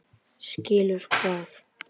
Skilur hvað?